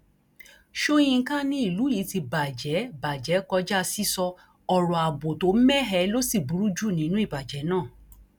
sọyìnkà ni ìlú yìí ti bàjẹ bàjẹ kọjá sísọ ọrọ ààbò tó mẹhẹ ló sì burú jù nínú ìbàjẹ náà